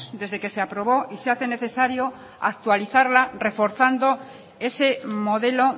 desde que se aprobó y se hace necesario actualizarla reforzando ese modelo